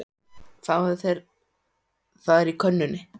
Fáðu þér, það er á könnunni.